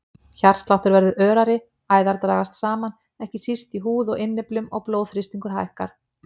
Hjartsláttur verður örari, æðar dragast saman, ekki síst í húð og innyflum og blóðþrýstingur hækkar.